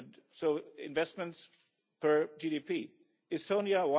So investments per GDP Estonia